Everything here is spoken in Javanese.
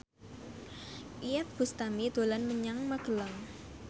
Iyeth Bustami dolan menyang Magelang